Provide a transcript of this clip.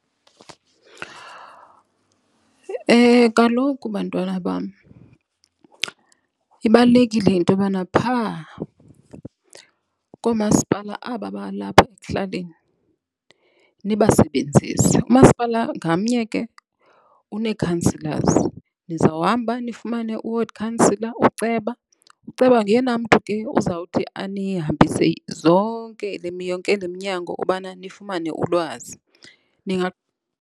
Kaloku, bantwana bam, ibalulekile into yobana phaa koomasipala aba balapha ekuhlaleni nibasebenzise. Umasipala ngamnye ke unee-counsellors. Nizawuhamba nifumane u-ward counsellor, uceba. Uceba nguyena mntu ke uzawuthi anihambise zonke yonke le mnyango ubana nifumane ulwazi .